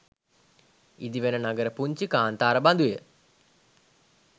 ඉදිවෙන නගර පුංචි කාන්තාර බඳුය.